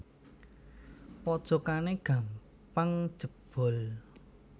Pojokane gampang jebol